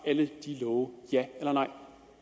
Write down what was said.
alle de love ja eller nej